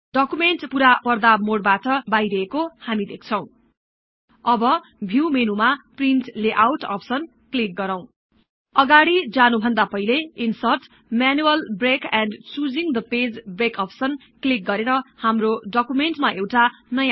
document पूरा पर्दा मोडबाट बाहिरिएको हामी देख्छौँ